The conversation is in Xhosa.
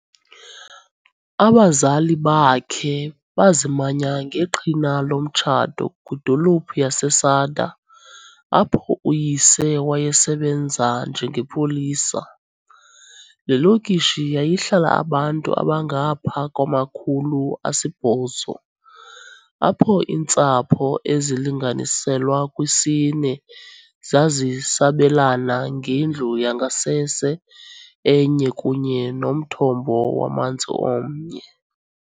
Abazali bakhe bazimanya ngeqhina lomtshato kwidolophu yaseSada, apho uyise wayesebenza njengepolisa. Le lokishi yayihlala abantu abangapha kwama-800, apho iintsapho ezilinganiselwa kwisine zazisabelana ngendlu yangasese enye kunye nomthombo wamanzi omnye.